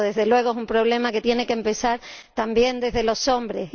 Desde luego, es un problema cuya solución tiene que empezar también desde los hombres.